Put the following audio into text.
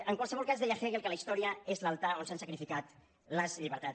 en qualsevol cas deia hegel que la història és l’altar on s’han sacrificat les llibertats